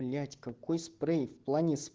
блять какой спрей в плане с